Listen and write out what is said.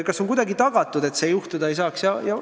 Kas on kuidagi tagatud, et midagi juhtuda ei saa?